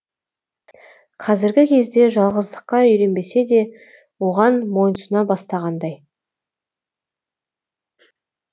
қазіргі кезде жалғыздыққа үйренбесе де оған мойынсұна бастағандай